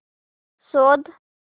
शोध